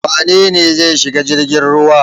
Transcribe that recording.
Wane ne zai shiga jirgin ruwa?